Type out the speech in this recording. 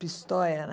Pistoia, né?